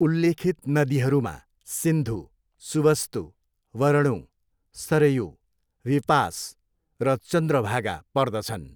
उल्लेखित नदीहरूमा सिन्धु, सुवस्तु, वरणू, सरयू, विपास र चन्द्रभागा पर्दछन्।